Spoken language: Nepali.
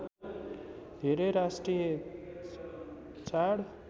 धेरै राष्ट्रिय चाड